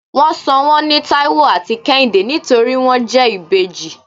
wón sò wón ní taiwo atí kehinde nítorí won jẹ ìbejí